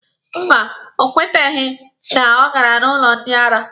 Mba, ọ kwetebeghị na ọ gara n'ụlọ ndị ara.